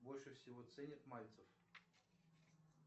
больше всего ценит мальцев